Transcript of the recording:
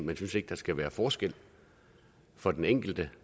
vi synes ikke der skal være forskel for den enkelte